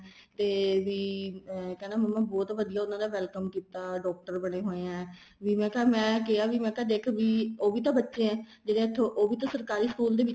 ਤੇ ਵੀ ਕਹਿੰਦਾ ਮੰਮਾ ਬਹੁਤ ਵਧੀਆ ਉਹਨਾ ਦਾ welcome ਕੀਤਾ ਡਾਕਟਰ ਬਣੇ ਹੋਏ ਆ ਵੀ ਮੈਂ ਕਿਹਾ ਮੈਂ ਦੇਖ ਵੀ ਉਹ ਵੀ ਤਾਂ ਬੱਚਾ ਏ ਜਿਹੜੇ ਇੱਥੋ ਉਹ ਵੀ ਤਾਂ ਸਰਕਾਰੀ school ਦੇ ਵਿੱਚ